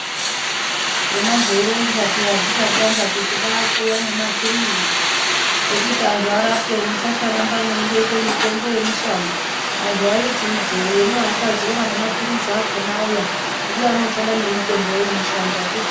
Zvona zveironzwa peya zvichatanga kuti kwaakuya nemapilizi ekuti anhu arapwe musasarambe mweindoite mitombo yemushango anhu aiti ijee hino akazoona nemapilizi akona auya ndiani uchada nemitombo yoyemushango akuchina.